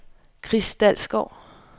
Chris Dalsgaard